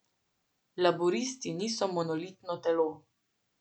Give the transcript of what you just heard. Laburisti niso monolitno telo.